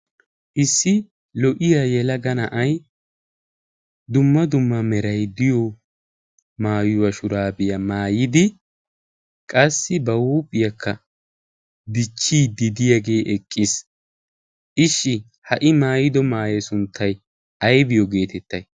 issi lo''iya yelaga na'ay dumma dumma meray diyo maayuwa shuraabiyaa maayidi qassi ba huuphiyaakka dichchiidi diyaagee eqqiis ishshi ha''i maayido maayee sunttay aybiyo geetettai